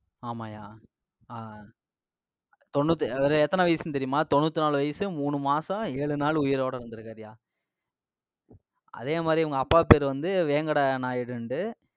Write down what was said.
ஆமாய்யா. ஆஹ் அஹ் தொண்ணுத்~ அதாவது எத்தனை வயசுன்னு தெரியுமா? தொண்ணூத்தி நாலு வயசு மூணு மாசம் ஏழு நாள் உயிரோட இருந்திருக்காருய்யா. அதே மாதிரி, இவங்க அப்பா பேரு வந்து, வேங்கடா நாயுடுன்னுட்டு.